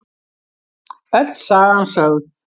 Öll sagan sögð